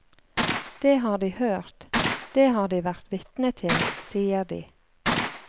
Det har de hørt, det har de vært vitne til, sier de.